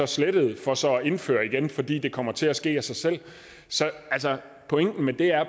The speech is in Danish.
slettede for så at indføre igen fordi det kommer til at ske af sig selv pointen med det er